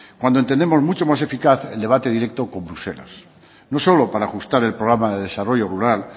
cuando entendemos mucho más eficaz el debate directo con bruselas no solo para ajustar el programa de desarrollo rural